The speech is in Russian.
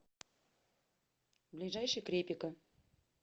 ближайший крепика